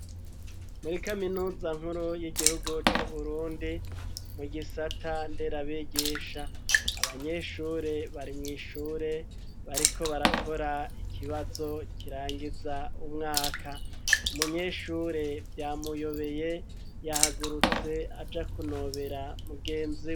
Muri kaminuza nkuru y'igihugu c'uburundi mu gisata nderabigisha abanyeshure bari mw'ishure bariko barakora ikibazo kirangiza umwaka umunyeshure vyamuyobeye yahagurutse aja kunobera mugenzi.